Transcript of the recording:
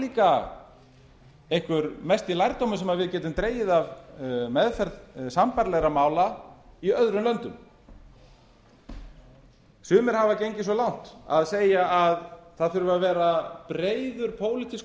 líka einhver mesti lærdómur sem við getum dregið af meðferð sambærilegra mála í öðrum löndum sumir hafa gengið svo langt að segja að það þurfi að vera breiður pólitískur